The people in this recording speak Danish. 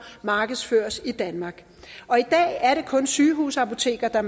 markedsføres i danmark og i dag er det kun sygehusapoteker der